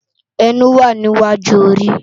Ènú wá ni iwájú óri